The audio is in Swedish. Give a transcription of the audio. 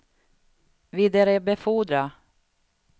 vidarebefordra